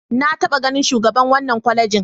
Na taɓa ganin shugaban wannan kwalejin.